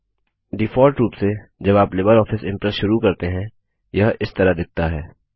default रूप से जब आप लिबर ऑफिस इंप्रेस शुरू करते हैं यह इस तरह दिखता है